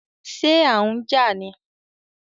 Ṣé à n jà ní?